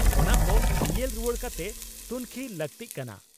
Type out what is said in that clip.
ᱚᱱᱟ ᱠᱚ ᱧᱮᱞ ᱨᱩᱣᱟᱹᱲ ᱠᱟᱛᱮ ᱛᱩᱱᱠᱷᱤ ᱞᱟᱜᱛᱤᱜ ᱠᱟᱱᱟ ᱾